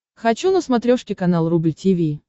хочу на смотрешке канал рубль ти ви